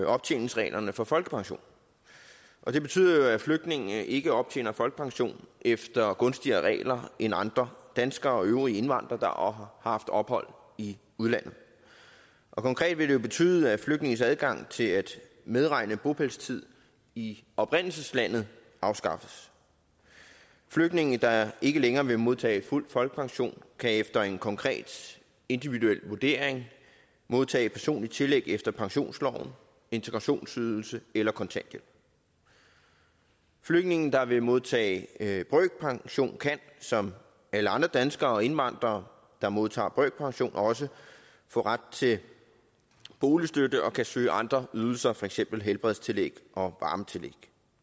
optjeningsreglerne for folkepension det betyder jo at flygtninge ikke optjener folkepension efter gunstigere regler end andre danskere og øvrige indvandrere har haft ophold i udlandet konkret vil det jo betyde at flygtninges adgang til at medregne bopælstid i oprindelseslandet afskaffes flygtninge der ikke længere vil modtage fuld folkepension kan efter en konkret individuel vurdering modtage personlige tillæg efter pensionsloven integrationsydelse eller kontanthjælp flygtninge der vil modtage brøkpension kan som alle andre danskere og indvandrere der modtager brøkpension også få ret til boligstøtte og kan søge andre ydelser for eksempel helbredstillæg og varmetillæg